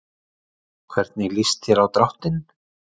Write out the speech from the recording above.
Hvernig lýst þér á dráttinn?